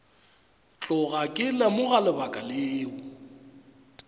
tloga ke lemoga lebaka leo